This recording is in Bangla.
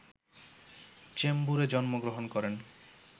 চেম্বুরে জন্মগ্রহণ করেন